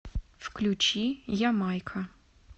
включи ямайка